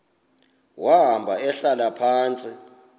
wahamba ehlala phantsi